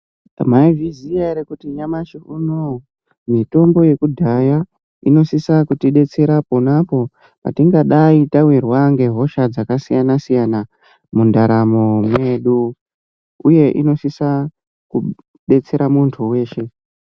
Maizviziya ere kuti nyamashi unoyu mitombo yekudhaya inosisa kutidetsera ponapo patingadayi tawirwa ngehosha dzakasiyana siyana mundaramo medu uye inosisa kudetsera muntu weshe.